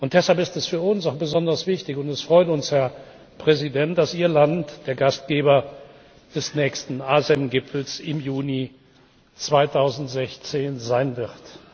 Deshalb ist es für uns auch besonders wichtig und es freut uns, Herr Präsident dass Ihr Land der Gastgeber des nächsten ASEM Gipfels im Juni 2016 sein wird.